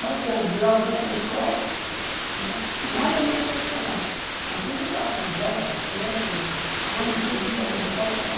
Bastante, jogava tanto na escola, né nada a nível profissional, mas sempre jogava bola, basquete, quando podia, né natação.